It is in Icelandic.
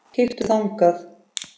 Kíktu þangað.